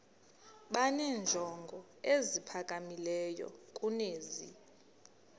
benenjongo eziphakamileyo kunezi